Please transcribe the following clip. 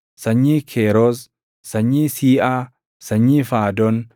sanyii Keeroos, sanyii Siiʼaa, sanyii Faadon,